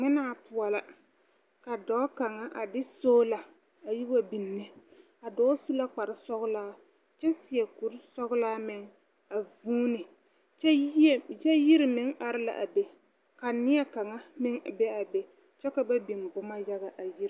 Ŋmenaa poɔla. Ka dɔɔ kaŋa a de soola a yi wa nine a dɔɔ su la kpare sɔgelaa kyɛ seɛ kuri sɔgelaa meŋ a vũũni kyɛ yie, kyɛ yiri meŋ are a la be ka neɛ kaŋa meŋ be a be kyɛ ka ba biŋ boma yaga a yiri.